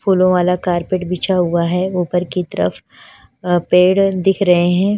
फूलो वाला कारपेट बिछा हुआ है उपर की तरफ अ पेड़ दिख रहे है।